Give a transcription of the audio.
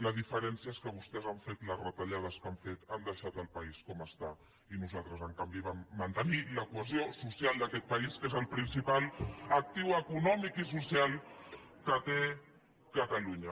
la diferència és que vostès han fet les retallades que han fet han deixat el país com està i nosaltres en canvi vam mantenir la cohesió social d’aquest país que és el principal actiu econòmic i social que té catalunya